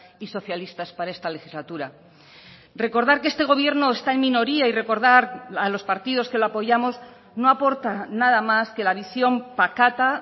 y socialistas para esta legislatura recordar que este gobierno está en minoría y recordar a los partidos que lo apoyamos no aporta nada más que la visión pacata